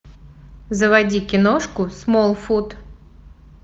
заводи киношку смолфут